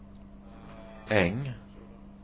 Äng